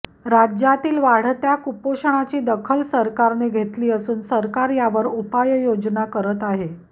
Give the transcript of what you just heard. राज्यातील वाढत्या कुपोषणाची दखल सरकारने घेतली असून सरकार यावर उपाययोजना करत आहे